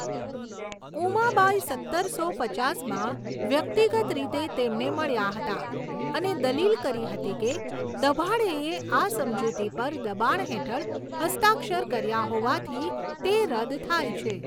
ઉમાબાઈ સત્તરસો પચાસમાં વ્યક્તિગત રીતે તેમને મળ્યા હતા અને દલીલ કરી હતી કે દભાડેએ આ સમજૂતી પર દબાણ હેઠળ હસ્તાક્ષર કર્યા હોવાથી તે રદ થાય છે.